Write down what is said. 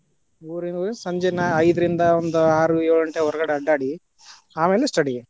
ಊರಿಗ್ ಹೋಗಿ ಸಂಜೆ ನಾ ಐದರಿಂದ ಆರು ಏಳು ಘಂಟೆ ಹೊರಗಡೆ ಅಡ್ಡ್ಯಾಡಿ, ಆಮೇಲೆ study .